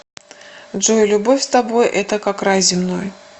джой любовь с тобой это как рай земной